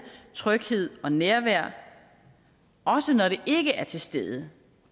tryghed og nærvær også når det ikke er til stede